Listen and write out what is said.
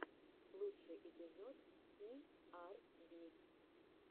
лучший эпизод и ар би